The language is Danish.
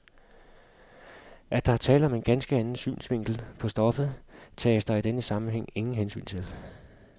At der er tale om en ganske anden synsvinkel på stoffet, tages der i den sammenhæng ingen hensyn til.